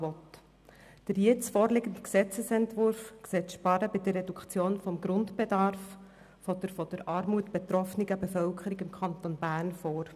Der jetzt vorliegende Gesetzesentwurf sieht das Sparen bei der Reduktion des Grundbedarfes bei der von Armut betroffenen Bevölkerung im Kanton Bern vor.